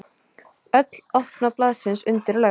Öll opna blaðsins undirlögð!